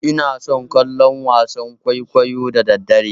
Inason kallon wasan kwaikwayo da daddare.